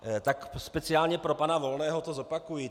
Tak speciálně pro pana Volného to zopakuji.